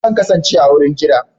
Zan kasance a wurin jira